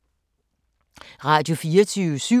Radio24syv